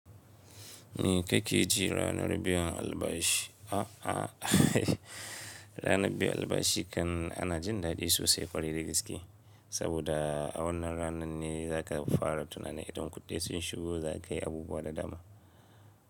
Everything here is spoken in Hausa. Ni ka ke ji ranar biyan albashi. A a ranar biyan albashi kan ana jin daɗi sosai ƙwarai da gaske. Saboda wannan rana ne za ka fara tunanin idan kuɗi sun shigo za ka yi abubuwa da dama.